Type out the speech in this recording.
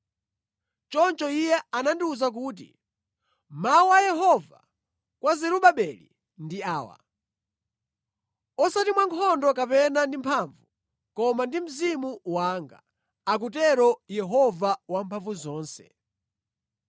Choncho iye anandiwuza kuti, “Mawu a Yehova kwa Zerubabeli ndi awa: ‘Osati mwa nkhondo kapena ndi mphamvu, koma ndi Mzimu wanga,’ akutero Yehova Wamphamvuzonse.